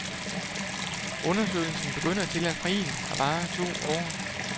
Undersøgelsen begynder til april og varer to år.